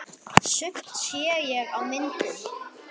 Sumt sé ég á myndum.